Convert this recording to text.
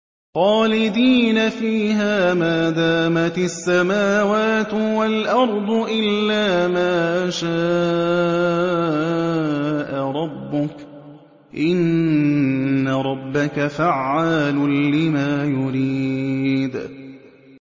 خَالِدِينَ فِيهَا مَا دَامَتِ السَّمَاوَاتُ وَالْأَرْضُ إِلَّا مَا شَاءَ رَبُّكَ ۚ إِنَّ رَبَّكَ فَعَّالٌ لِّمَا يُرِيدُ